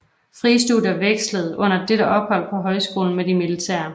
Frie studier vekslede under dette ophold på Højskolen med de militære